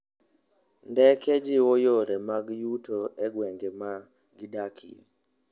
Ndeke jiwo yore mag yuto e gwenge ma gidakie.